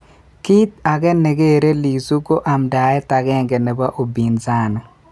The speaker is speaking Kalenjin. Kiit age ne kere Lissu ko amdaet agenge nebo upinsani